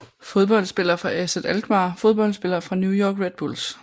Fodboldspillere fra AZ Alkmaar Fodboldspillere fra New York Red Bulls